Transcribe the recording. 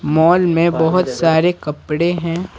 Mall में बहुत सारे कपड़े हैं।